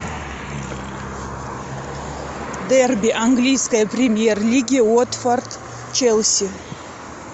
дерби английской премьер лиги уотфорд челси